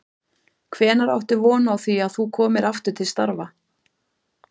Hvenær áttu von á því að þú komir aftur til starfa?